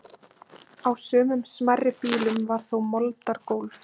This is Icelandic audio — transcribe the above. Á sumum smærri býlum var þó moldargólf.